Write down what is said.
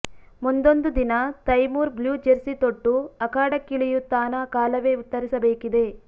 ಮುಂದೊಂದು ದಿನ Taimur blue jersey ತೊಟ್ಟು ಅಖಾಡಕ್ಕಿಳಿಯುತ್ತಾನಾ ಕಾಲವೇ ಉತ್ತರಿಸಬೇಕಿದೆ